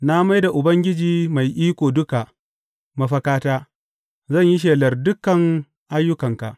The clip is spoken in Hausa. Na mai da Ubangiji Mai Iko Duka mafakata; zan yi shelar dukan ayyukanka.